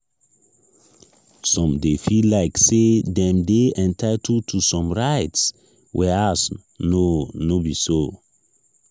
some de feel like say dem dey entitled to some rites whereas no no be so